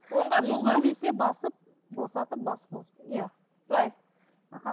оңға солға немесе басып босатып басып иә былай аха